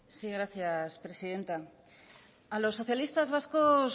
sí gracias presidenta a los socialistas vascos